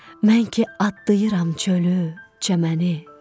Mən ki adlayıram çölü, çəməni.